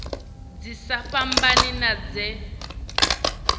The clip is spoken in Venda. dzi sa fhambani na dze